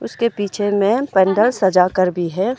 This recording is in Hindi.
उसके पीछे में पंडाल सजा कर भी है।